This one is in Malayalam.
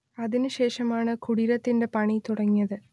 അതിനുശേഷമാണ് കുടീരത്തിന്റെ പണി തുടങ്ങിയത്